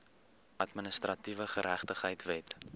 administratiewe geregtigheid wet